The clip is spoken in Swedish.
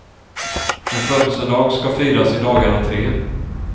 En födelsedag som firas i dagarna tre.